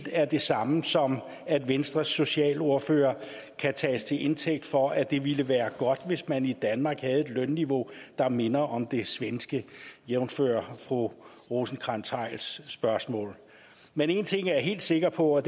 er det samme som at venstres socialordfører kan tages til indtægt for at det ville være godt hvis man i danmark havde et lønniveau der minder om det svenske jævnfør fru rosenkrantz theils spørgsmål men én ting jeg er helt sikker på er